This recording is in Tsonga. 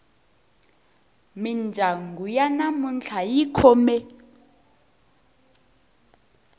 mindyangu ya namuntlha yi khome